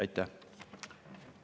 Aitäh!